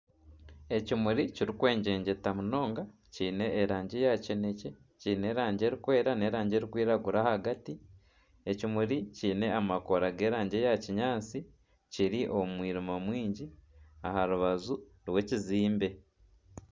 Ekimuri kirikwegyegyeta munonga kyine erangi ya kinekye kiine erangi erikwera n'erangi erikwiragura ahagati ekimuri kyine amakoora g'erangi eya kinyaatsi kiri omu mwirima mwingi aha rubaju rw'ekizimbe.